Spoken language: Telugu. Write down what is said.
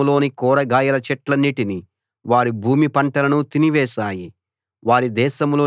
అవి వారి దేశంలోని కూరగాయల చెట్లన్నిటిని వారి భూమి పంటలను తినివేశాయి